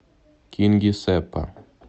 кингисеппа